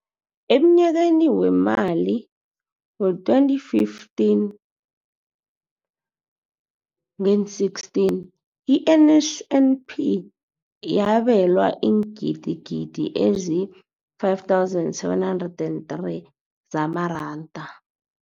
Emnyakeni weemali we-2015 ngeen-16, i-NSNP yabelwa iingidigidi ezi-5 703 zamaranda.